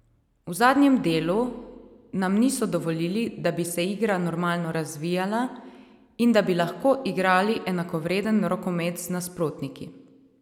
V zadnjem delu nam niso dovolili, da bi se igra normalno razvijala in da bi lahko igrali enakovreden rokomet z nasprotniki.